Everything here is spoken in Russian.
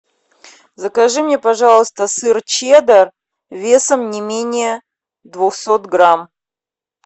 закажи мне пожалуйста сыр чеддер весом не менее двухсот грамм